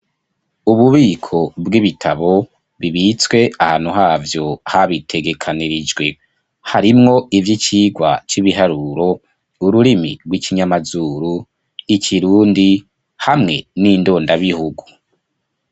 Ububiko bw'ibitabo, bibitswe ahantu havyo, habitegekanirijwe; harimwo ivy'icigwa c'ibiharuro, ururimi rw'ikinyamazuru, ikirundi, hamwe n'indondabihugu.